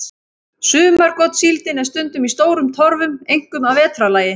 Sumargotssíldin er stundum í stórum torfum, einkum að vetrarlagi.